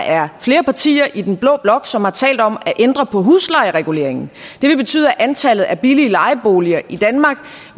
er flere partier i den blå blok som har talt om at ændre på huslejereguleringen det vil betyde at antallet af billige lejeboliger i danmark